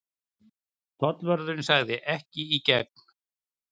Tollvörðurinn sagði: Ekki í gegn.